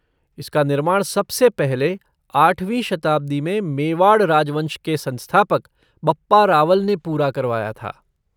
इसका निर्माण सबसे पहले आठवीं शताब्दी में मेवाड़ राजवंश के संस्थापक बप्पा रावल ने पूरा करवाया था।